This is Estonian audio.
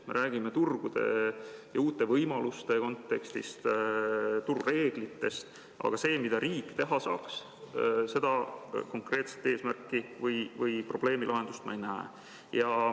Me räägime turgudest ja uutest võimalustest, turureeglitest, aga seda, mida riik teha saaks, seda konkreetset eesmärki või probleemi lahendust ma ei näe.